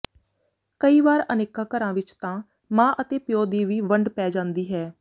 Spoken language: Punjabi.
ਕਈ ਵਾਰ ਅਨੇਕਾਂ ਘਰਾਂ ਵਿੱਚ ਤਾਂ ਮਾਂ ਅਤੇ ਪਿਉ ਦੀ ਵੀ ਵੰਡ ਪੈ ਜਾਦੀ ਹੈ